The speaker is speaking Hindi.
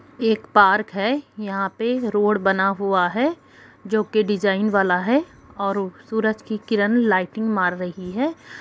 एक पार्क है यहां पर रोड बना हुआ है जो के डिजाइन वाला है और सूरज की किरण लाइटिंग मार रही है।